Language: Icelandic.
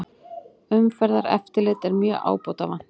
Umferðareftirlit er mjög ábótavant